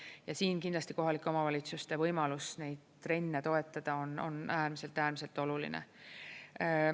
Ja siin kindlasti kohalike omavalitsuste võimalus neid trenne toetada on äärmiselt-äärmiselt oluline.